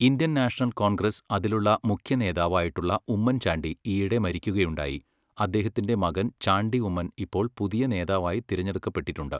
Indian national Congress അതിലുള്ള മുഖ്യ നേതാവ് ആയിട്ടുള്ള ഉമ്മൻചാണ്ടി ഈയിടെ മരിക്കുകയുണ്ടായി, അദ്ദേഹത്തിൻ്റെ മകൻ ചാണ്ടി ഉമ്മൻ ഇപ്പോൾ പുതിയ നേതാവായി തിരഞ്ഞെടുക്കപ്പെട്ടിട്ടുണ്ട്